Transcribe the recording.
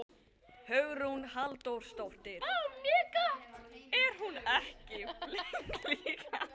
Hugrún Halldórsdóttir: Er hún ekki flink líka?